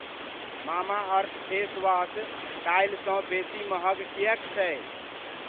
Mamaearth face wash काल्हिसँ बेसी महग किएक छै?